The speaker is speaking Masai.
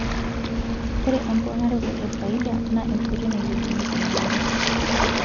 Ore emponaroto efaida naa enkoitoi nailepunyieki emirare.